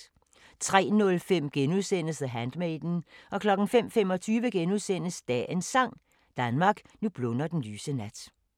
03:05: The Handmaiden * 05:25: Dagens Sang: Danmark, nu blunder den lyse nat *